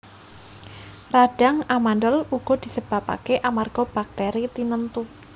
Radhang amandhel uga disebabaké amarga baktèri tinentu